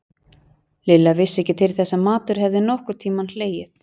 Lilla vissi ekki til þess að matur hefði nokkurn tímann hlegið.